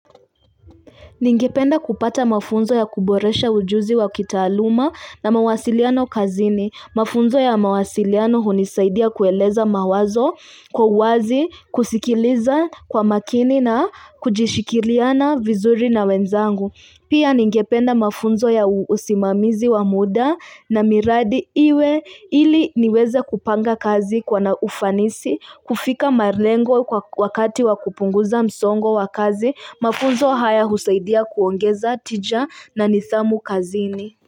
Ningependa kupata mafunzo ya kuboresha ujuzi wa kitaaluma na mawasiliano kazini. Mafunzo ya mawasiliano hunisaidia kueleza mawazo kwa uwazi, kusikiliza kwa makini na kujishikiliana vizuri na wenzangu. Pia ningependa mafunzo ya usimamizi wa muda na miradi iwe ili niweze kupanga kazi kwa na ufanisi, kufika malengo kwa wakati wakupunguza msongo wakazi, mafunzo haya husaidia kuongeza tija na nidhamu kazini.